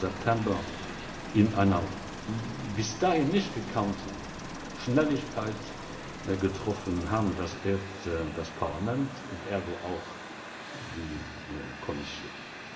23. September in einer bis dahin nicht gekannten Schnelligkeit getroffen haben, erst das Parlament und ergo auch die Kommission.